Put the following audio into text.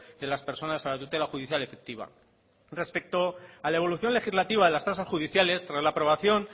de la personas a la tutela judicial efectiva respecto a la evolución legislativa de las tasas judiciales tras las aprobación